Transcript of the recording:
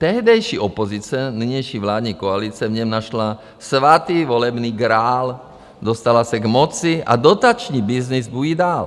Tehdejší opozice, nynější vládní koalice v něm našla svatý volební grál, dostala se k moci a dotační byznys bují dál.